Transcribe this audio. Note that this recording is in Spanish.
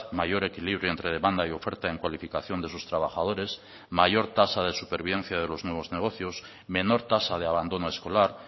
mayor equilibrio entre demanda y oferta en cualificación de sus trabajadores mayor tasa de supervivencia de los nuevos negocios menor tasa de abandono escolar